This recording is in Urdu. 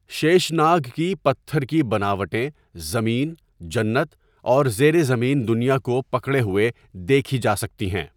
شیش ناگ کی پتھر کی بناوٹیں زمین، جنت اور زیر زمین دنیا کو پکڑے ہوئے دیکھی جا سکتی ہیں۔